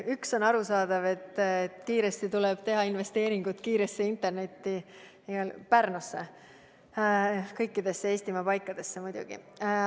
Üks on arusaadav: kiiresti tuleb teha investeeringuid kiiresse internetti, et see toimiks Pärnus ja üldse kõikides Eestimaa paikades muidugi.